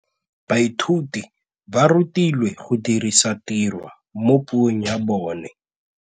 Baithuti ba rutilwe go dirisa tirwa mo puong ya bone.